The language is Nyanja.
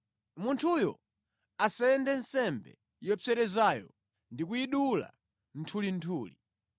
Munthuyo asende nsembe yopserezayo ndi kuyidula nthulinthuli.